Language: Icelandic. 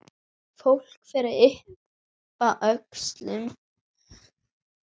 Fólk fer að yppta öxlum.